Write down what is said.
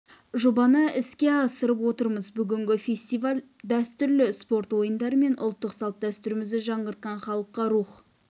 жобаны іске асырып отырмыз бүгінгі фестиваль дәстүрлі спорт ойындары мен ұлттық салт-дәстүрімізді жаңғыртқан халыққа рух